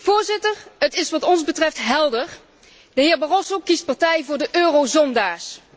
Voorzitter, het is wat ons betreft helder de heer Barroso kiest partij voor de eurozondaars.